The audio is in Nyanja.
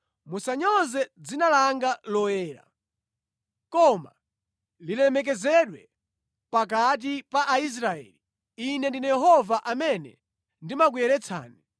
Musanyoze dzina langa loyera. Koma lilemekezedwe pakati pa Aisraeli. Ine ndine Yehova amene ndimakuyeretsani